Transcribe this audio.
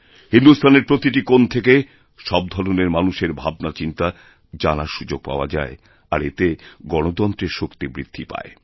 হিন্দুস্থানের প্রতিটি কোণ থেকে সবধরণের মানুষের ভাবনাচিন্তা জানার সুযোগ পাওয়া যায় আর এতে গণতন্ত্রের শক্তি বৃদ্ধিপায়